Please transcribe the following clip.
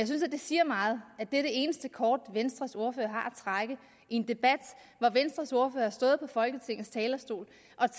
synes at det siger meget at det er det eneste kort venstres ordfører har at trække i en debat hvor venstres ordfører har stået på folketingets talerstol